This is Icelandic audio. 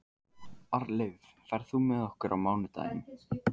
Arnleif, ferð þú með okkur á mánudaginn?